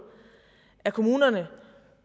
at kommunerne